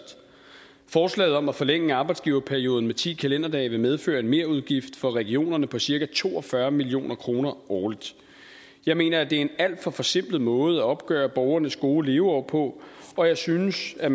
forslaget om at forlænge arbejdsgiverperioden med ti kalenderdage vil medføre en merudgift for regionerne på cirka to og fyrre million kroner årligt jeg mener at det er en alt for forsimplet måde at opgøre borgernes gode leveår på og jeg synes at